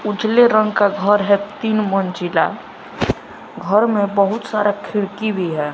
उजले रंग का घर है तीन मंजिला घर में बहुत सारा खिड़की भी है।